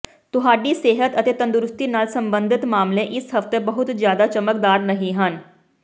ਤੁਹਾਡੀ ਸਿਹਤ ਅਤੇ ਤੰਦਰੁਸਤੀ ਨਾਲ ਸੰਬੰਧਤ ਮਾਮਲੇ ਇਸ ਹਫਤੇ ਬਹੁਤ ਜ਼ਿਆਦਾ ਚਮਕਦਾਰ ਨਹੀਂ ਹਨ